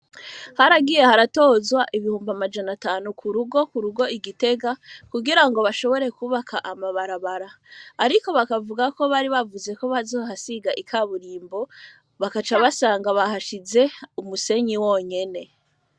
Haragiye haratozwa ibihumbi amajana atanu ku rugo ku rugo igitega kugira ngo bashobore kubaka amabarabara, ariko bakavuga ko bari bavuze ko bazohasiga ika burimbo bakaca basanga bahashize umusenyi wonyene.